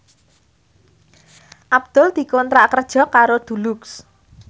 Abdul dikontrak kerja karo Dulux